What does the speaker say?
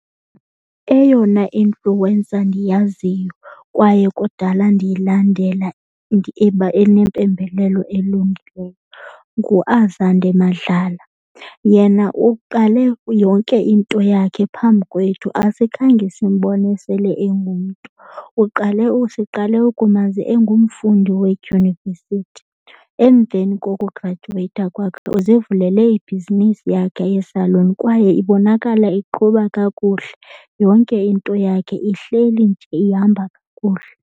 Eyona influencer ndiyaziyo kwaye kudala ndiyilandela enempembelelo elungileyo nguAzande Madlala. Yena uqale yonke into yakhe phambi kwethu, asikhange simbone sele engumntu. Uqale siqale ukumazi engumfundi wedyunivesithi. Emveni kokugradyuweyitha kwakhe uzivulele ibhizinisi yakhe yesaluni kwaye ibonakala iqhuba kakuhle. Yonke into yakhe ihleli nje ihamba kakuhle.